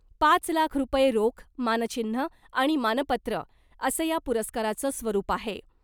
पाच लाख रूपये रोख , मानचिन्ह आणि मानपत्र असं या पुरस्काराचं स्वरुप आहे .